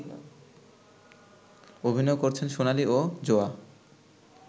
অভিনয় করছেন সোনালি ও যোয়া